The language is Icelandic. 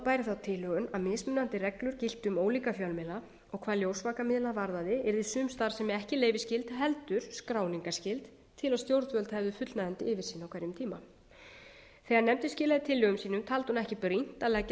bæri þá tilhögun að mismunandi reglur giltu um ólíka fjölmiðla og hvað ljósvakamiðla varðaði yrði sums staðar ekki leyfisskyld heldur skráningarskyld til að stjórnvöld hefðu fullnægjandi yfirsýn á hverjum tíma þegar nefndin skilaði tillögum sínum taldi hún ekki brýnt að leggja